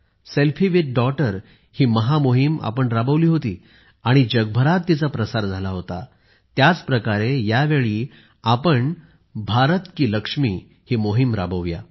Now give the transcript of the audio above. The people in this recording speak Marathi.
Selfie विथ डॉगटर ही महा मोहीम आपण राबवली होती आणि जगभरात तीचा प्रसार झाला होता त्याच प्रकारे या वेळी आपण भारत की लक्ष्मीही मोहीम राबवू या